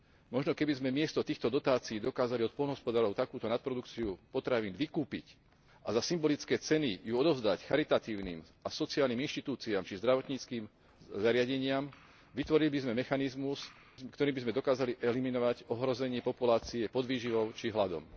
Možno keby sme miesto týchto dotácií dokázali od poľnohospodárov takúto nadprodukciu potravín vykúpiť a za symbolické ceny ju odovzdať charitatívnym a sociálnym inštitúciám či zdravotníckym zariadeniam, vytvorili by sme mechanizmus, ktorým by sme dokázali eliminovať ohrozenie populácie podvýživou či hladom.